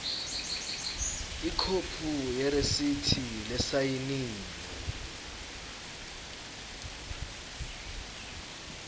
ikhophi yeresithi lesayiniwe